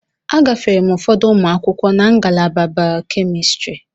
Agafere m ụfọdụ ụmụ akwụkwọ na ngalaba Bay-Kemistri.